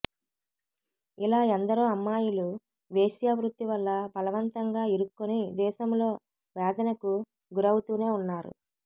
ఇలా ఎందరో అమ్మాయిలు వేశ్యావృత్తి వల్ల బలవంతంగా ఇరుక్కుని దేశంలో వేధనకు గురవుతూనే ఉన్నారు